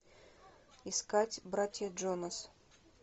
искать братья джонас